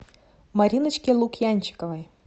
мариночке лукьянчиковой